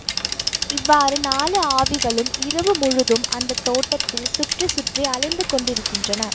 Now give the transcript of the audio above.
இவ்வாறு நாலு ஆவிகளும் இரவு முழுதும் அந்த தோட்டத்தில் சுற்றி சுற்றி அலைந்து கொண்டிருக்கின்றன